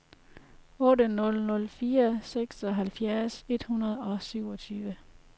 otte nul nul fire seksoghalvfjerds et hundrede og syvogtyve